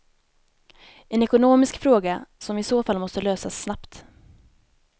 En ekonomisk fråga som i så fall måste lösas snabbt.